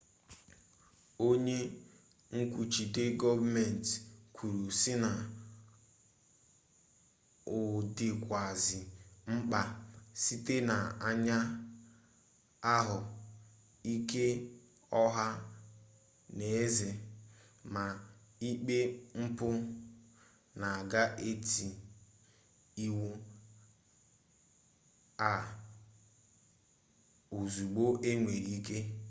onye nkwuchite goomenti kwuru si na o dikwazi mkpa site na anya ahu ike oha n'eze ma ikpe mpu na aga eti iwu a ozugbo enwere ike